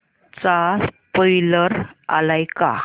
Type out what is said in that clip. चा स्पोईलर आलाय का